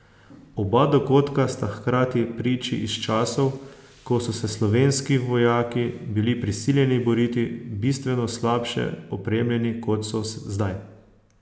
Oba dogodka sta hkrati priči iz časov, ko so se slovenski vojaki bili prisiljeni boriti bistveno slabše opremljeni, kot so zdaj.